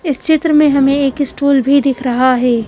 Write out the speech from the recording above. इस चित्र में हमें एक स्टूल भी दिख रहा है।